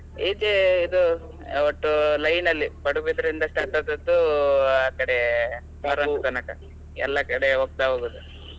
ಈಚೆ ಇದು ಒಟ್ಟು line ಅಲ್ಲಿ Padubidri ಇಂದ start ಆದದ್ದು ಆಕಡೆ ಮರವಂತೆ ತನಕ, ಎಲ್ಲ ಕಡೆ ಹೋಗ್ತಾ ಹೋಗೋದು.